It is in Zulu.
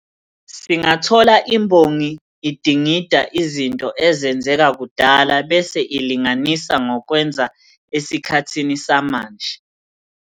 Singathola imbongi idingida izinto ezenzeka kudala bese ilinganisa nokwenzeka esikhathini samanje.